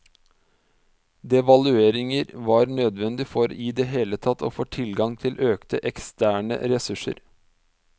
Devalueringer var nødvendige for i det hele tatt å få tilgang til økte eksterne ressurser.